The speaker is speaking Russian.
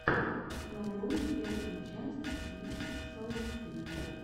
нарой первую часть ви соус три